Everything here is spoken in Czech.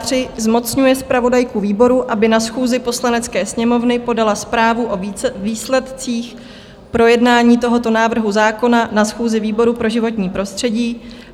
III. zmocňuje zpravodajku výboru, aby na schůzi Poslanecké sněmovny podala zprávu o výsledcích projednání tohoto návrhu zákona na schůzi výboru pro životní prostředí;